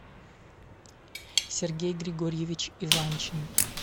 сергей григорьевич иванчин